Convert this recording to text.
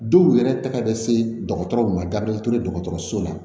Dɔw yɛrɛ ta bɛ se dɔgɔtɔrɔw ma dabila dɔgɔtɔrɔso la